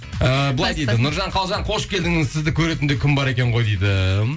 ыыы былай дейді нұржан қалжан қош келдіңіз сізді көретін де күн бар екен ғой дейді